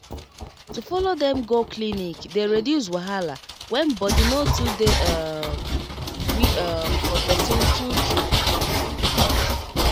to follow dem go clinic dey reduce wahala when body no too dey um gree um for person true true um